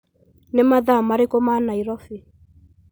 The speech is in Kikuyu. nĩ mathaa marĩkũ ma Nairobi